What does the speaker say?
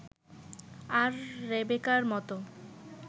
আর রেবেকার মতো